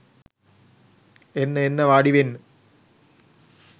එන්න එන්න වාඩිවෙන්න